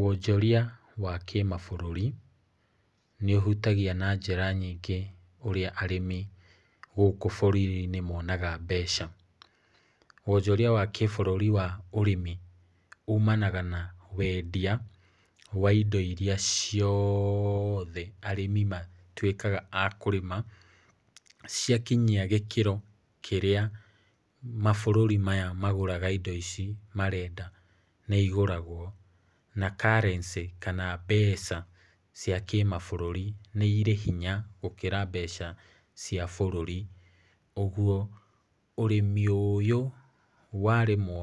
Wonjoria wa kĩmabũrũri nĩũhutagia na njĩra nyingĩ ũrĩa arĩmi gũkũ bũrũri-inĩ monaga mbeca. Wonjoria wa kĩbũrũri wa ũrĩmi umanaga na wendia wa indo iria cioothe arĩmi matuĩkaga a kũrĩma, ciakinyia gĩkĩro kĩrĩa mabũrũri maya magũraga indo ici marenda nĩigũragwo na currency kana mbeca cia kĩmabũrũri nĩ irĩ hinya gũkĩra mbeca cia bũrũri, ũguo ũrĩmi ũyũ warĩmwo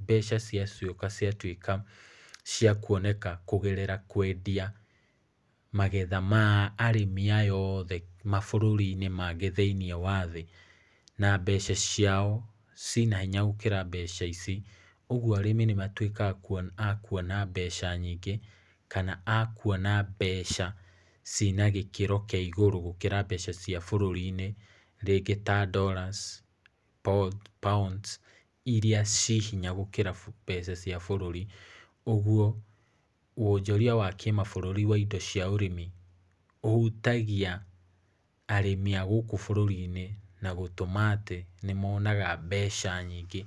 mbeca ciacoka ciatuĩka cia kuoneka kũgerera kwendia magetha ma arĩmi aya othe mabũrũri-inĩ mangĩ thĩiniĩ wa thĩ, na mbeca ciao ciĩna hinya gũkĩra mbeca ici, ũguo arĩmi nĩmatuĩkaga a kuona mbeca nyingĩ kana a kuona mbeca ciĩna gĩkĩro kĩa igũrũ gũkĩra mbeca cia bũrũri-inĩ rĩngĩ ta dollars, pounds iria ciĩ hinya gũkĩra mbeca cia bũrũri, ũguo wonjoria wa kĩmabũrũri wa indo cia ũrĩmi ũhutagia arĩmi a gũkũ bũrũri-inĩ, na gũtũma atĩ nĩmonaga mbeca nyingĩ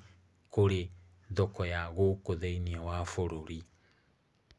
kũrĩ thoko ya gũkũ thĩiniĩ wa bũrũri.